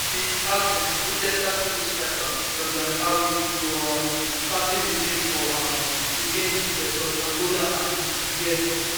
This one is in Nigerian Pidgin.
in his absence leicester city striker jordan ayew go um captain di team for um di games vs angola and niger